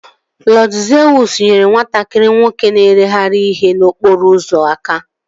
Lọd Zeus nyere nwatakịrị nwoke na-ereghari ihe n'okporo ụzọ aka